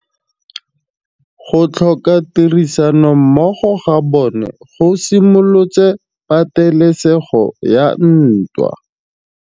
Go tlhoka tirsanommogo ga bone go simolotse patêlêsêgô ya ntwa.